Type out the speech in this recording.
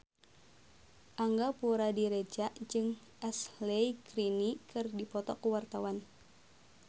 Angga Puradiredja jeung Ashley Greene keur dipoto ku wartawan